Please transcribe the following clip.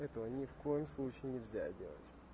этого ни в коем случае нельзя делать